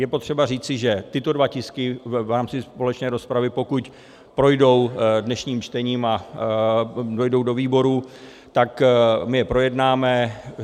Je potřeba říci, že tyto dva tisky v rámci společné rozpravy, pokud projdou dnešním čtením a dojdou do výborů, tak my je projednáme.